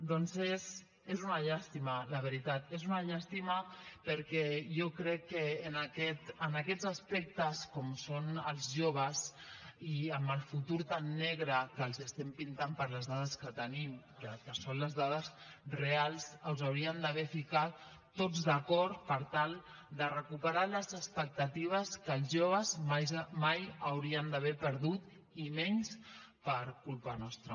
doncs és una llàstima la veritat és una llàstima perquè jo crec que en aquests aspectes com són els joves i amb el futur tan negre que els estem pintant per les dades que tenim que són les dades reals ens hauríem d’haver ficat tots d’acord per tal de recuperar les expectatives que els joves mai haurien d’haver perdut i menys per culpa nostra